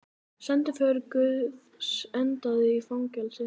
Sendiför guðs endaði í fangelsi